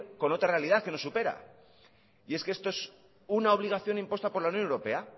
con otra realidad que nos supera y es que esto es una obligación impuesta por la unión europea